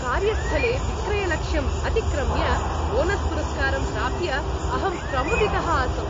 कार्यस्थले विक्रयलक्ष्यं अतिक्रम्य बोनस्पुरस्कारं प्राप्य अहं प्रमुदितः आसम्।